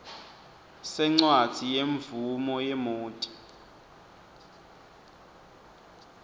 sencwadzi yemvumo yemoti